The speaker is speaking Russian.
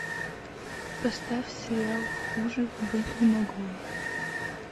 поставь сериал хуже быть не могло